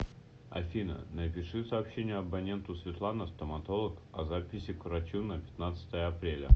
афина напиши сообщение абоненту светлана стоматолог о записи к врачу на пятнадцатое апреля